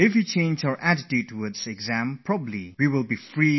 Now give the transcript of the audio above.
If we were to change the way we look at exams then we would be tensionfree